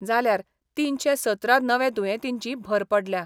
जाल्यार तीनशे सतरा नवे दुयेंतींची भर पडल्या.